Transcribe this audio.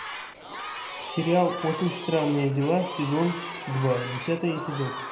сериал очень странные дела сезон два десятый эпизод